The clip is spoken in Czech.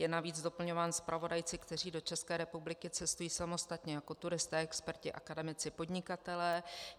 Je navíc doplňován zpravodajci, kteří do České republiky cestují samostatně jako turisté, experti, akademici, podnikatelé.